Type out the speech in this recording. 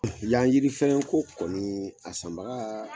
La yiri fɛn ko kɔni, a san baga